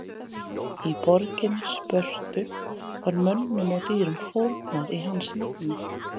í borginni spörtu var mönnum og dýrum fórnað í hans nafni